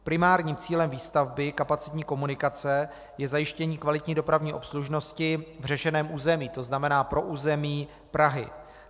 Primárním cílem výstavby kapacitní komunikace je zajištění kvalitní dopravní obslužnosti v řešeném území, to znamená pro území Prahy.